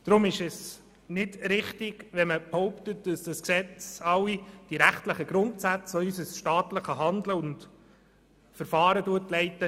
Darum ist es nicht richtig, zu behaupten, das Gesetz würde alle die rechtlichen Grundsätze verletzen, die unser staatliches Handeln und Verfahren leiten.